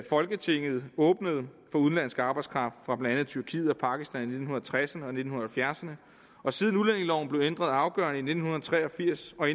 folketinget åbnede for udenlandsk arbejdskraft fra blandt andet tyrkiet og pakistan i nitten tresserne og nitten halvfjerdserne og siden udlændingeloven blev ændret afgørende i nitten tre og firs og